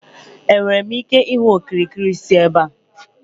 Enwere m ike ịhụ okirikiri si ebe a?